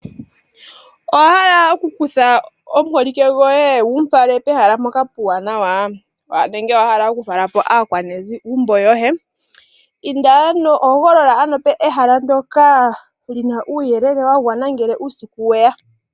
Owahala okukutha omuholike goye wufale pehala mpoka puuwanawa nenge wahala okufalapo aakwanegumbo yoye , hogolola ano ehala ndoka lina uuyelele wagwana ngele uusiku weya.